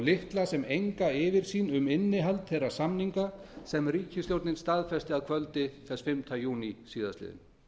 litla sem enga yfirsýn um innihald þeirra samninga sem ríkisstjórnin staðfesti að kvöldi fimmta júní síðastliðinn